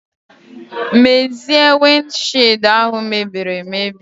Mezie wind shied ahu mebiri emebi.